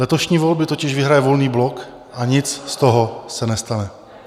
Letošní volby totiž vyhraje Volný blok a nic z toho se nestane.